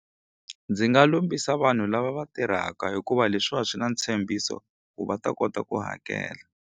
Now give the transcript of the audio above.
Ndzi nga lombisa vanhu lava va tirhaka hikuva leswiwa swi na ntshembiso ku va ta kota ku hakela.